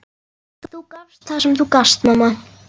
Þú gafst það sem þú gast, mamma.